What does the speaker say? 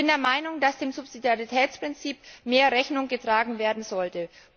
Ich bin der Meinung, dass dem Subsidiaritätsprinzip mehr Rechnung getragen werden sollte.